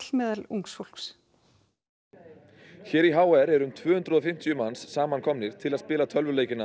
meðal ungs fólks hér í h r eru um tvö hundruð og fimmtíu manns saman komnir til að spila tölvuleikina